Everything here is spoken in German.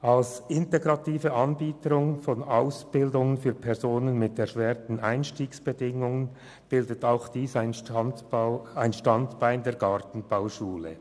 Das integrative Angebot von Ausbildungsplätzen für Personen mit erschwerten Einstiegsbedingungen bildet ein Standbein dieser Gartenbauschule.